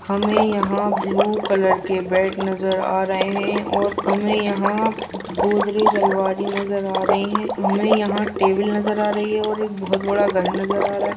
हमें यहाँ blue colour के बेड नज़र आ रहे हैंऔर हमें यहाँ गोदरेज अलमारी नजर आ रही हैं हमें यहाँ टेबल नजर आ रही हैं और बहुत बड़ा घर नजर आ रहा आ रहा हैं।